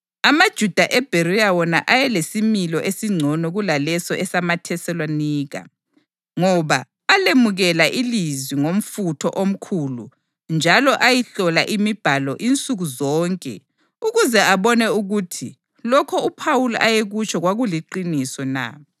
AmaJuda eBheriya wona ayelesimilo esingcono kulaleso esamaThesalonika, ngoba alemukela ilizwi ngomfutho omkhulu njalo ayihlola iMibhalo insuku zonke ukuze abone ukuthi lokho uPhawuli ayekutsho kwakuliqiniso na.